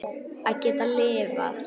Að geta lifað.